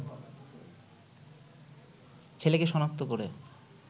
ছেলেকে শনাক্ত করে